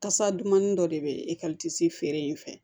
Kasa dumanin dɔ de bɛ esansi feere in fɛ